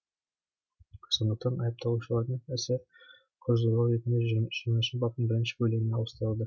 сондықтан айыпталушылардың ісі құр зорлау ретінде жүз жиырмасыншы баптың бірінші бөлігіне ауыстырылды